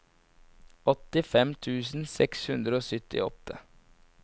åttifem tusen seks hundre og syttiåtte